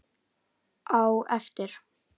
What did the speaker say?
Á eftir.